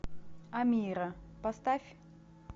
амира поставь